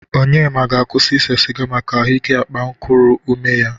Onyema ga-akwụsị isee sịga maka ahụ ike akpankuru ume ya.